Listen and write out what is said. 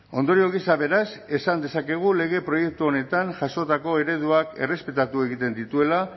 ondorio gisa beraz esan dezakegu lege proiektu honetan jasotako ereduak errespetatu egiten dituela